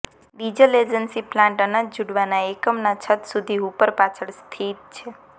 diesel engine plant અનાજ ઝૂડવાના એકમ ના છત સીધી હૂપર પાછળ સ્થિત છે